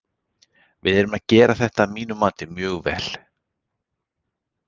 Við erum að gera þetta að mínu mati mjög vel.